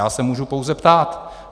Já se můžu pouze ptát.